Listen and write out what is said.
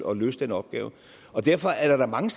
at løse den opgave derfor er der da mange